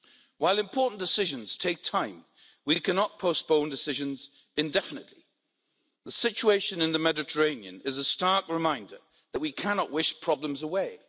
While important decisions take time, we cannot postpone decisions indefinitely. The situation in the Mediterranean is a stark reminder that we cannot wish problems away.